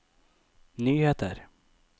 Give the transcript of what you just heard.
nyheter